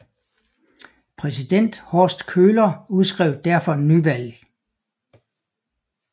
Præsident Horst Köhler udskrev derfor nyvalg